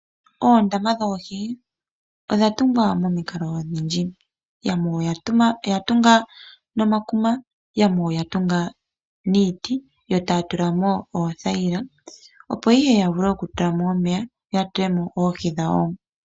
Oondama dhoodhi odha tungwa momikalo odhindji yamwe oyatunga nomakuma yamwe oyatunga niiti ee taya tulamo oothayila opo ihe yavule okutulamo omeya yatulemo oohi dhawo.